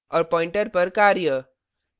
और pointer pointer पर कार्य